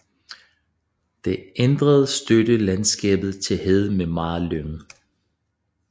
Det ændrede støt landskabet til hede med meget lyng